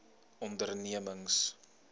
ondernemings